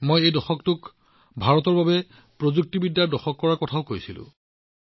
মই এই দশকটোক প্ৰযুক্তিগত ভাৰত নিৰ্মাণ কৰাৰ কথাও কৈছিলো